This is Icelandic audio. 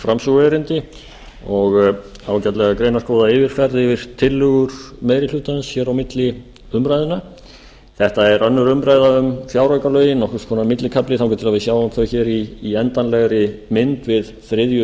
framsöguerindi og ákaflega greinargóða yfirferð yfir tillögur meiri hlutans á milli umræðna þetta er önnur umræða um fjáraukalögin nokkurs konar millikafli þangað til við sjáum þau hér i endanlegri mynd við þriðju